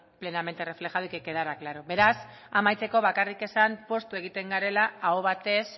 plenamente reflejada y que quedara claro beraz amaitzeko bakarrik esan poztu egiten garela aho batez